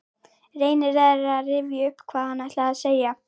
Reynir að rifja upp hvað hann ætlaði að segja.